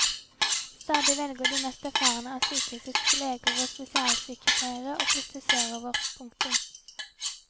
Stadig velger de mest erfarne av sykehusets leger og spesialsykepleiere å flytte sørover. punktum